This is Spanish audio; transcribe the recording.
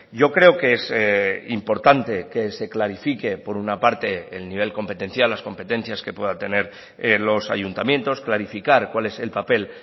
yo creo que es importante que se clarifique por una parte el nivel competencial las competencias que pueda tener los ayuntamientos clarificar cuál es el papel